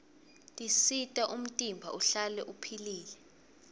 tisita umtimba uhlale upihlile